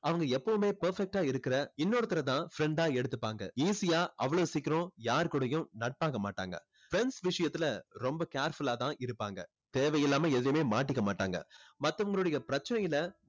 அவங்க எப்பவுமே perfect ஆ இருக்கிற இன்னொருத்தரைதான் friend ஆ எடுத்துப்பாங்க. easy ஆ அவ்வளவு சீக்கிரம் யார் கூடேயும் நட்பாக மாட்டாங்க friends விஷயத்துல ரொம்ப careful ஆ தான் இருப்பாங்க. தேவையில்லாம எதிலுமே மாட்டிக்க மாட்டாங்க. மத்தவங்களுடைய பிரச்சனையில